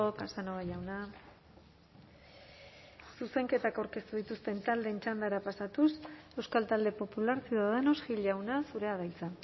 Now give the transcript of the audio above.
casanova jauna zuzenketak aurkeztu dituzten taldeen txandara pasatuz euskal talde popular ciudadanos gil jauna zurea da hitza